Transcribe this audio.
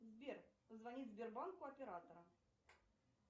сбер позвонить сбербанку оператора